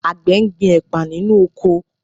Àgbẹ̀ ń gbin ẹ̀pà nínú oko